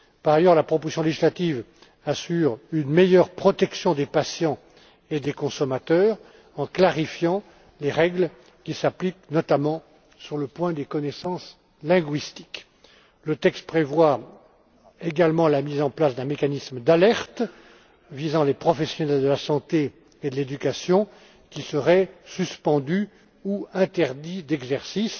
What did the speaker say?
Par ailleurs, la proposition législative assure une meilleure protection des patients et des consommateurs en clarifiant les règles qui s'appliquent, notamment aux connaissances linguistiques. Le texte prévoit également la mise en place d'un mécanisme d'alerte visant les professionnels de la santé et de l'éducation qui seraient suspendus ou interdits d'exercice.